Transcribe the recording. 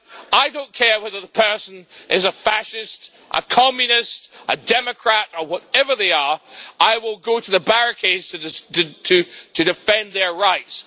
I don't care whether the person is a fascist, a communist, a democrat or whatever they are I will go to the barricades to defend their rights.